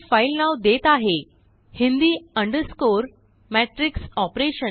मी हेफाइल नाव देत आहेhindi matrix operation